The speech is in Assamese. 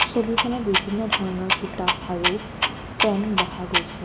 ছবিখনত বিভিন্ন ধৰণৰ কিতাপ আৰু পেন দেখা গৈছে।